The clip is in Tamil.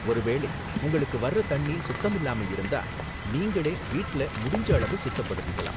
ஒரு வேளை உங்களுக்கு வர்ற தண்ணி சுத்தமில்லாம இருந்தா, நீங்களே வீட்ல முடிஞ்ச அளவு சுத்தப்படுத்திக்கலாம்